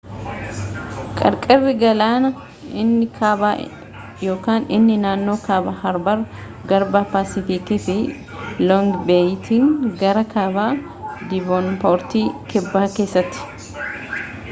qarqarri galaanaa inni kaabaainni naannoo kaaba harbar garba paasifiikiifi loongi beeyitiin gara kaaba diivoonpoortii kibba keessatti